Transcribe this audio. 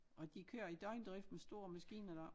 Og de kører i døgndrift med store maskiner deroppe